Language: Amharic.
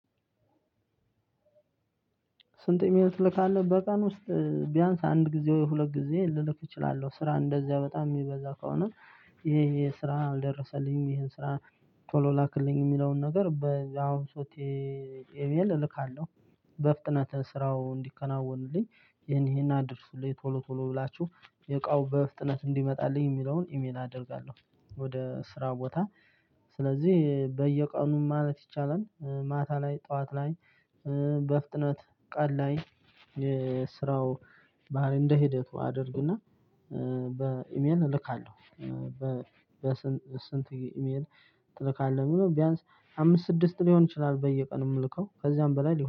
ስንት ግዜ ትልካለህ በቀን ውስጥ ቢያንስ አንድ ጊዜ ሁለት ጊዜ ልልክ እችላለሁ ስራ እንደዚያ በጣም የሚበዛ ከሆነ ይሄ ይሄ ስራ ደረሰልኝ ይሄን ስራ ቶሎ ላክልኝ የሚለውን ነገር በ አሁን ሶቴ ኤሜል እልካለሁ። በፍጥነት ስራው እንዲከናወንልኝ ይሄን ይሄን አድርሱልኝ ቶሎ ቶሎ ብላችሁ የእቃው በፍጥነት እንዲመጣልኝ የሚለውን ኢሜል አደርጋለሁ ወደ ስራ ቦታ ስለዚህ በየቀኑ ማለት ይቻላል ማታ ላይ ጠዋት ላይ በፍጥነት ቀን ላይ የስራው ባህሪ እንደ ሂደቱ አድርግና በኢሜል እልካለሁ በስንት ኢሜል እልካለሁ የሚለው ቢያንስ አምስት ስድስት ሊሆን ይችላል በየቀኑ የምልከው ከዚያም በላይ